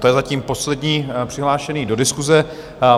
To je zatím poslední přihlášená do diskuse.